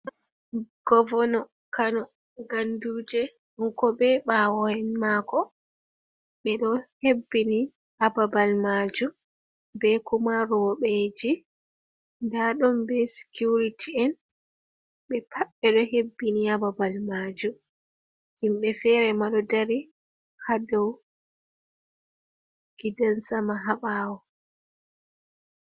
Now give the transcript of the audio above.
Gomna kano ganduje, kanko be bawo en mako ,be do hebbini hababal majum, be kuma rewbeji ,da don be sikiuriti en, be pat be do hebbini ha babal majum, himbe fere ma do dari ha dow gidan sama ha bawo.